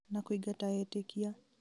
na kũĩngata etĩkia